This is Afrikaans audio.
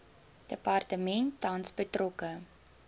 departement tans betrokke